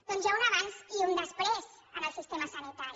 doncs hi ha un abans i un després en el sistema sanitari